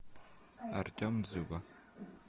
артем дзюба